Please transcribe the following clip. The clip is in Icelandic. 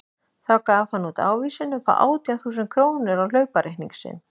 Þá gaf hann út ávísun upp á átján þúsund krónur á hlaupareikning sinn.